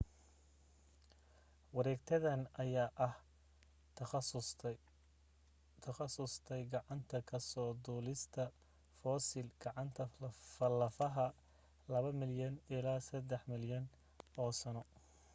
wareegtadan ayaa ah ku takhasustay gacanta ka soo duulista fossil gacanta lafaha laba milyan ilaa saddex milyan oo sano